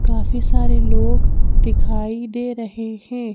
काफी सारे लोग दिखाई दे रहे हैं।